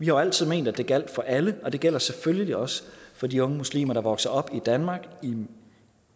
jo altid ment at det gjaldt for alle og det gælder selvfølgelig også for de unge muslimer der vokser op i danmark